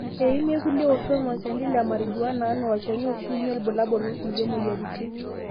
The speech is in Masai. eimie ilkulie oshon olchani le marijuana ena olchani oshiunyie ilbulabul okulie moyaritin.